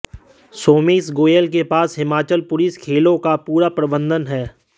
सोमेश गोयल के पास हिमाचल पुलिस खेलों का पूरा प्रबंधन है